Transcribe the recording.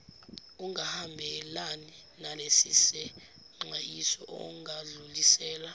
ungahambelani nalesisexwayiso ungadlulisela